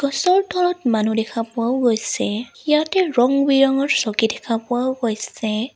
গছৰ তলত মানুহ দেখা পোৱাও গৈছে ইয়াতে ৰং বিৰংঙৰ চকী দেখা পোৱাও গৈছে।